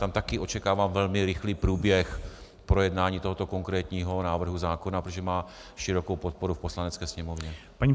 Tam také očekávám velmi rychlý průběh projednání tohoto konkrétního návrhu zákona, protože má širokou podporu v Poslanecké sněmovně.